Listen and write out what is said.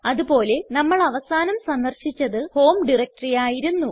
അത് പോലെ നമ്മൾ അവസാനം സന്ദർശിച്ചത് ഹോം ഡയറക്ടറി ആയിരുന്നു